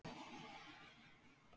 En hver mun á endanum ákveða nafnið?